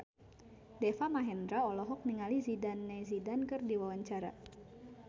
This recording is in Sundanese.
Deva Mahendra olohok ningali Zidane Zidane keur diwawancara